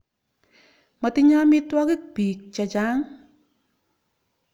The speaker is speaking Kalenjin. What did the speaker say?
Matinye amitwogik piik che chang'.